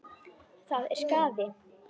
Það er skaði.